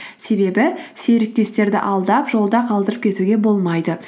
себебі серіктестерді алдап жолда қалдырып кетуге болмайды